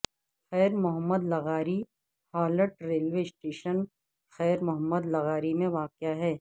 خیر محمد لغاری halt railway station خیر محمد لغاری میں واقع ہے